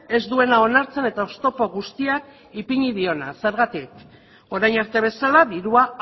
ez duena onartzen eta oztopo guztiak ipini diona zergatik orain arte bezala dirua